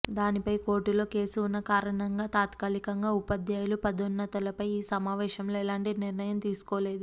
దానిపై కోర్టులో కేసు ఉన్న కారణంగా తాత్కాలికంగా ఉపాధ్యాయుల పదోన్నతలపై ఈ సమావేశంలో ఎలాంటి నిర్ణయం తీసుకోలేదు